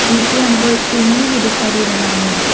नीचे हमको एक चुनरी भी दिखाई दे रहा है।